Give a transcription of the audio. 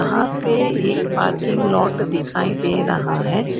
यहां पे एक पार्किंग लॉट दिखाई दे रहा है।